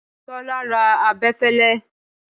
Tọ́lá ra abẹfẹlẹ.